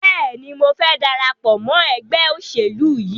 Bẹ́ẹ̀ni, mo fẹ́ darapọ̀ mọ́ ẹgbẹ́ òṣèlú yìí.